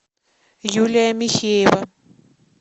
юлия михеева